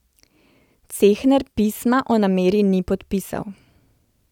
Cehner pisma o nameri ni podpisal.